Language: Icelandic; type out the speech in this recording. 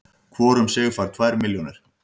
Hvor um sig fær tvær milljónir